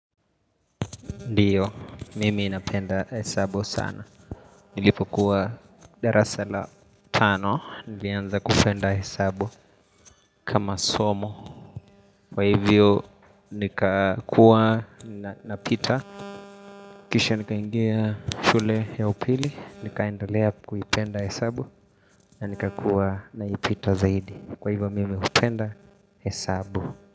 Ndiyo, mimi napenda hesabu sana. Nilipokuwa darasa la tano, nilianza kupenda hesabu kama somo. Kwa hivyo, nikakuwa napita. Kisha nikaingia shule ya upili, nikaendelea kuipenda hesabu, na nikakuwa naipita zaidi. Kwa hivyo, mimi hupenda hesabu.